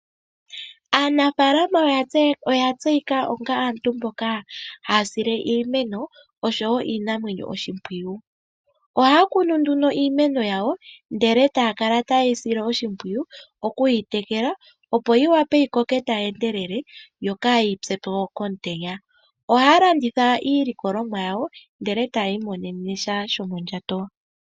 Aanafaalama oya tseyika onga aantu mboka haya sile iimeno noshowo iinamwenyo oshimpwiyu. Ohaya kunu nduno iimeno yawo, e taya kala taye yi sile oshimpwiyu okuyi tekela, opo yi wape yi koke tayi endelele yo kaayi pye omutenya. Ohaya landitha iilikolomwa yawo, e taya imonene sha shomondjato.